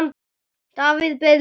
Davíð beið lengi.